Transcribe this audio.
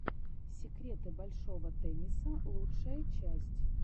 секреты большого тенниса лучшая часть